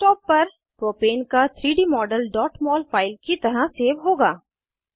desktop पर propane का 3डी मॉडल mol फाइल की तरह सेव होगा